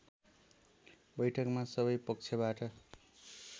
बैठकमा सबै पक्षबाट